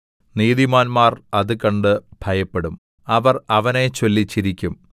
നീതിമാന്മാർ അത് കണ്ട് ഭയപ്പെടും അവർ അവനെച്ചൊല്ലി ചിരിക്കും